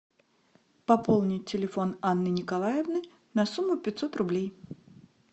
пополнить телефон анны николаевны на сумму пятьсот рублей